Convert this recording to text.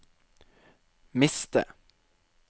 miste